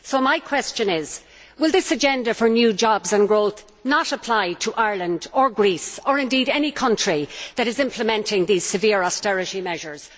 So my question is will this agenda for new jobs and growth not apply to Ireland or Greece or, indeed, any country that is implementing these severe austerity measures?